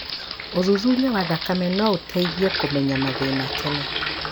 ũthuthuria wa thakame noũteithe kũmenya mathĩna tene